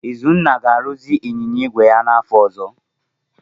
Izunna ga-arụzi ịnyịnya igwe ya n'afọ ọzọ.